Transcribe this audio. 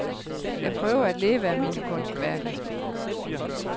Jeg prøver at leve af mine kunstværker.